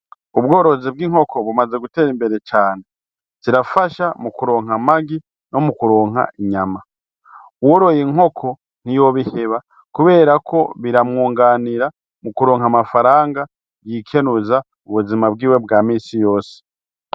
Ubwororo bw'inkoko bumaze gutera imbere cane. Zirafasha mu kuronka amagi no mu kuronka inyama. Uworoye inkoko ntiyobiheba kubera ko biramwunganira mu kuronka amafaranga yikenuza ubuzima bwiwe bwa minsi yose.